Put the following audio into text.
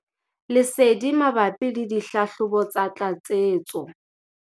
Lesedi mabapi le dihlahlobo tsa tlatsetso.